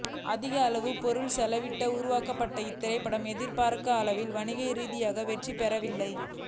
அதிகமான பொருட்செலவில் உருவாக்கப்பட்ட இத்திரைப்படம் எதிர்பார்த்த அளவிற்கு வணிக ரீதியான வெற்றியை பெறவில்லை